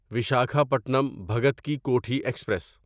ویساکھاپٹنم بھگت کی کوٹھی ایکسپریس